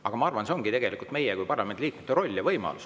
Aga ma arvan, et see ongi tegelikult meie kui parlamendi liikmete roll ja võimalus.